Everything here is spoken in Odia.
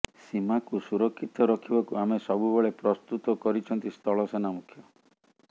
ସୀମାକୁ ସୁରକ୍ଷିତ ରଖିବାକୁ ଆମେ ସବୁବେଳେ ପ୍ରସ୍ତୁତ କରିଛନ୍ତି ସ୍ଥଳସେନା ମୁଖ୍ୟ